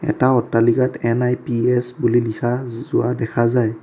এটা অট্টালিকাত এন_আই_পি_এচ বুলি লিখা যোৱা দেখা যায়।